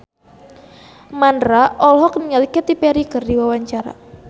Mandra olohok ningali Katy Perry keur diwawancara